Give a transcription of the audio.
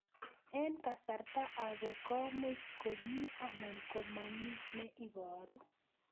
Eng' kasarta ag'e ko much ko mii anan komamii ne ibaru